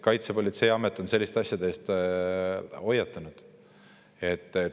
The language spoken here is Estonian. Kaitsepolitseiamet on selliste asjade eest hoiatanud.